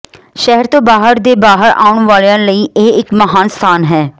ਸ਼ਹਿਰ ਤੋਂ ਬਾਹਰ ਦੇ ਬਾਹਰ ਆਉਣ ਵਾਲਿਆਂ ਲਈ ਇਹ ਇੱਕ ਮਹਾਨ ਸਥਾਨ ਹੈ